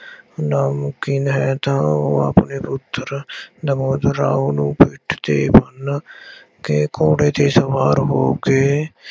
ਨਾਮੁਨਕਿਨ ਹੈ ਤਾਂ ਉਹ ਆਪਣੇ ਪੁੱਤਰ ਨਵੋਦ ਰਾਉ ਨੂੰ ਪਿੱਠ ਤੇ ਬੰਨ੍ਹ ਕੇ ਘੋੜੇ ਤੇ ਸਵਾਰ ਹੋ ਕੇ